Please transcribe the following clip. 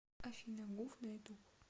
афина гуф на ютуб